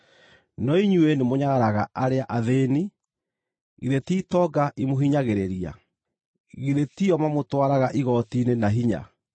No inyuĩ nĩ mũnyararaga arĩa athĩĩni. Githĩ ti itonga imũhinyagĩrĩria? Githĩ ti o mamũtwaraga igooti-inĩ na hinya?